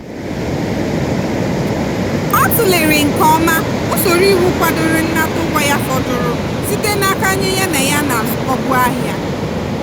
ọ tụlere nke ọma usoro iwu kwadoro nnata ụgwọ ya fọdụrụ site n'aka onye ya na ya na-azụkọbu ahịa.